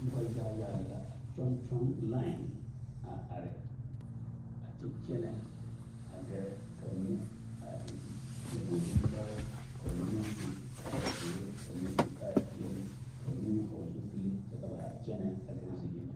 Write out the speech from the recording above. Noba yaga yaga lɛ la a kyɔŋ kyɔŋ line a are a kyɛ kyɛnɛ a gɛrɛ ka ba mine a eŋ nyɔbogre bonpɔgre ka ba mine meŋ su kaayazeere ka ba mine su kaayapeɛlle ka ba mine meŋ vɔgle zupile kyɛ ka ba kyɛnɛ a gɛrɛ ziyeni.